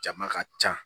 Jama ka ca